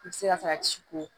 I bɛ se ka taa ci ko